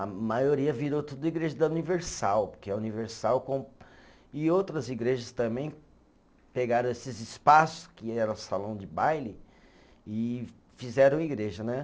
A maioria virou tudo igreja da Universal, porque a Universal com, e outras igrejas também pegaram esses espaços, que eram salão de baile, e fizeram igreja, né?